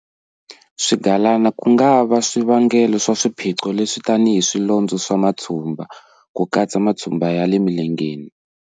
Swigalana ku nga va xivangelo xa swiphiqo leswi tanihi swilondzo na matshumba, ku katsa matshumba ya le milengeni.